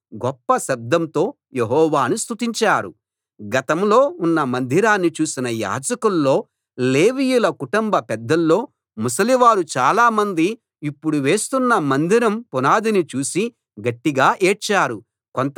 గతంలో ఉన్న మందిరాన్ని చూసిన యాజకుల్లో లేవీయుల కుటుంబ పెద్దల్లో ముసలివారు చాలామంది ఇప్పుడు వేస్తున్న మందిరం పునాదిని చూసి గట్టిగా ఏడ్చారు కొంతమంది సంతోషంతో గట్టిగా కేకలు వేశారు